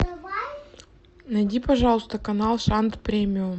найди пожалуйста канал шант премиум